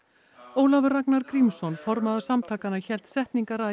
Ólafur Ragnar Grímsson formaður samtakanna hélt setningarræðu